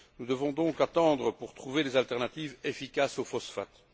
Nous devons donc attendre pour trouver des alternatives efficaces aux phosphates.